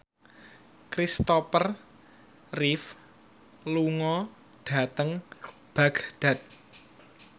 Christopher Reeve lunga dhateng Baghdad